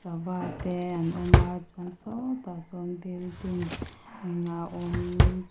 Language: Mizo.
sava te an awm a chuan sâwtah sâwn building a awm--